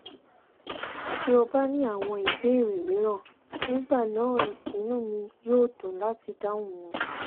tí o bá ní ìbéèrè mìíràn nígbà náà inú mi yóò dùn láti dáhùn wọn